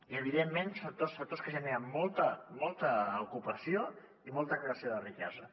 i evidentment són tots sectors que generen molta ocupació i molta creació de riquesa